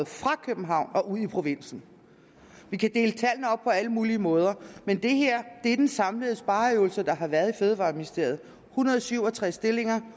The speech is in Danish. fra københavn ud i provinsen vi kan dele tallene op på alle mulige måder men det her er den samlede spareøvelse der har været i fødevareministeriet nemlig hundrede og syv og tres stillinger